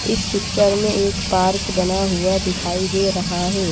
इस पिक्चर में एक पार्क बना हुआ दिखाई दे रहा है।